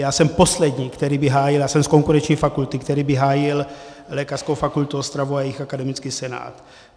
Já jsem poslední, který by hájil, já jsem z konkurenční fakulty, který by hájil Lékařskou fakultu Ostrava a jejich akademický senát.